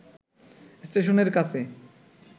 স্টেশনের কাছে